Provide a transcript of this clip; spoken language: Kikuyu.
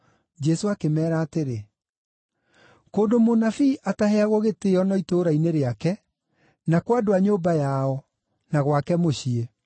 Jesũ akĩmeera atĩrĩ, “Kũndũ mũnabii ataheagwo gĩtĩĩo no itũũra-inĩ rĩake, na kwa andũ a nyũmba yao, na gwake mũciĩ.”